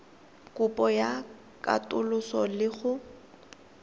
kopo ya katoloso le go